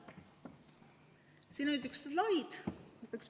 Siin on üks slaid.